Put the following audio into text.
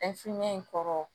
in kɔrɔ